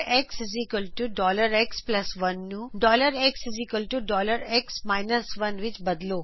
xx1 ਨੂੰ xx 1 ਵਿਚ ਬਦਲੋ